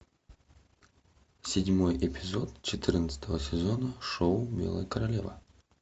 седьмой эпизод четырнадцатого сезона шоу белая королева